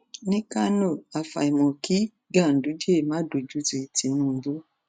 ní kano àfàìmọ kí ganduje má dojútì tinubu